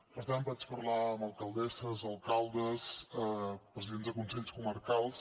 per tant vaig parlar amb alcaldesses alcaldes presidents de consells comarcals